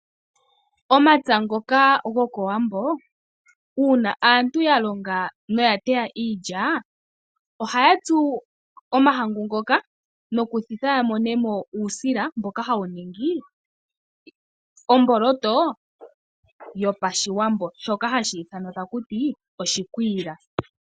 Omapya ngoka go kowambo uuna aantu yalonga noyateya iilya, ohayatsu omahangu ngoka, nokuthitha yamonemo uusila. Mboka hawu ningi omboloto yopashiwambo ndjoka hayi ithanwa takuti oshikwiila.